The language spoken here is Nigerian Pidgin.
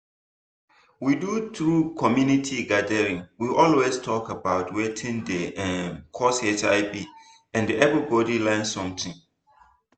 we do true community gathering we always talk about watin dey um cause hiv and everybody learn something.